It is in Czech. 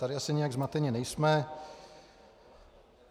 Tady asi nijak zmateni nejsme.